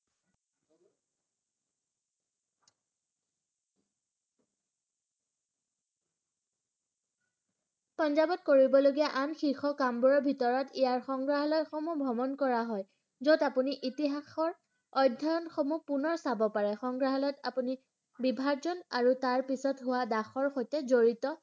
পাঞ্জাবত কৰিবলগীয়া আন শিৰ্শ কামবোৰৰ ভিতৰত ইয়াৰ সংগ্ৰাহলয় সমুহ ভ্ৰমণ কৰা হয় যত আপুনি ইতিহাসৰ অধ্যয়নসমুহ পুনৰ চাব পাৰে সংগ্ৰাহলয়ত আপুনি বিভাৰ্জন আৰু তাৰ পিছত হুৱা দাসৰ সৈতে জড়িত